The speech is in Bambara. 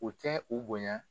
O tɛ u bonya